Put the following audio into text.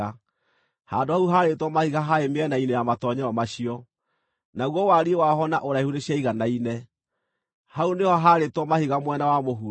Handũ hau haarĩtwo mahiga haarĩ mĩena-inĩ ya matoonyero macio, naguo wariĩ waho na ũraihu nĩciaiganaine; hau nĩho haarĩtwo mahiga mwena wa mũhuro.